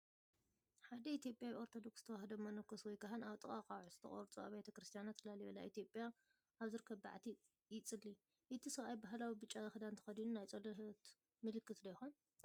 ሓደ ኢትዮጵያዊ ኦርቶዶክስ ተዋህዶ መነኮስ ወይ ካህን ኣብ ጥቓ ኣኻውሕ ዝተቖርጹ ኣብያተ ክርስቲያናት ላሊበላ ኢትዮጵያ ኣብ ዝርከብ በዓቲ ይጽሊ። እቲ ሰብኣይ ባህላዊ ብጫ ክዳን ተኸዲኑን ናይ ጸሎት ምልክትዶ ይኸውን?